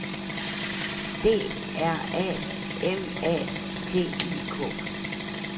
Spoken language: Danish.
D R A M A T I K